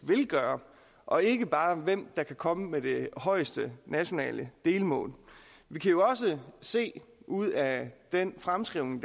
og ikke bare hvem der kan komme med det højeste nationale delmål vi kan se ud af den fremskrivning